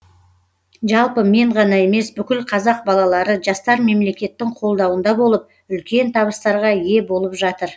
жалпы мен ғана емес бүкіл қазақ балалары жастар мемлекеттің қолдауында болып үлкен табыстарға ие болып жатыр